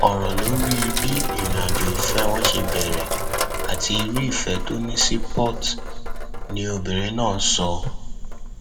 ọrọ lórí bí ìrìnàjò ìfẹ wọn ṣe bẹrẹ àti irú ìfẹ tó ní sí port ni obìnrin náà sọ